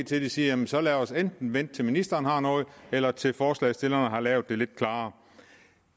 til at sige jamen så lad os enten vente til ministeren har noget eller til forslagsstillerne har lavet det lidt klarere